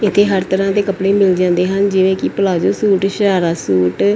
ਇੱਥੇ ਹਰ ਤਰ੍ਹਾਂ ਦੇ ਕੱਪੜੇ ਮਿਲ ਜਾਂਦੇ ਹਨ ਜਿਵੇਂ ਕਿ ਪਲਾਜੋ ਸੂਟ ਸ਼ਰਾਰਾ ਸੂਟ।